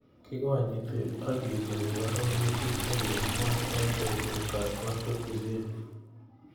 kikonyiti ak kesubii arorutik chekikimwaa eng betutab katunisiet